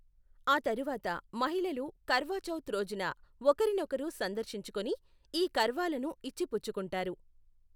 ఆ తరువాత మహిళలు కర్వా చౌత్ రోజున ఒకరినొకరు సందర్శించుకుని ఈ కర్వాలను ఇచ్చిపుచ్చుకుంటారు.